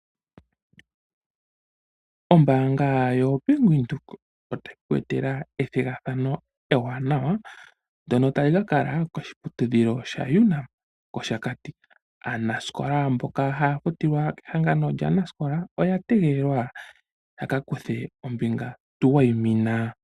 Ombaanga yoBank windhoek otayi ke ku etela ethigathano ewanawa ndjono tali ka kala koshiputudhilo sha UNAM koshakati. Aanaskola mboka haya futilwa kehangano lyaanaskola oya tegelelwa yaka kuthe ombinga tuwayimina.